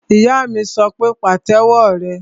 Ìyá mi sọ pé, Pàtẹ́wọ́ rẹ!